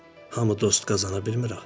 Hamı dost qazana bilmir ha.